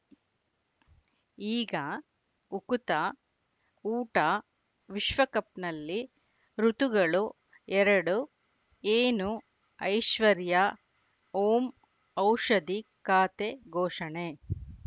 ಈಗ ಉಕುತ ಊಟ ವಿಶ್ವಕಪ್‌ನಲ್ಲಿ ಋತುಗಳು ಎರಡು ಏನು ಐಶ್ವರ್ಯಾ ಓಂ ಔಷಧಿ ಖಾತೆ ಘೋಷಣೆ